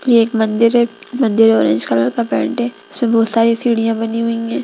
ये एक मंदिर है मंदिर ऑरेंज कलर का पेंट है इसमें बहुत सारी सीढ़ियां बनी हुई है।